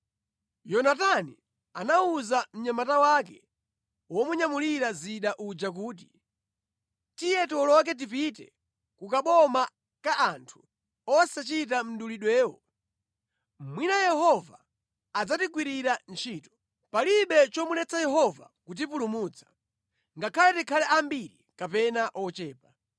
Yonatani anawuza mnyamata wake womunyamulira zida uja kuti, “Tiye tiwoloke tipite ku kaboma ka anthu osachita mdulidwewo. Mwina Yehova adzatigwirira ntchito. Palibe chomuletsa Yehova kutipulumutsa, ngakhale tikhale ambiri kapena ochepa.”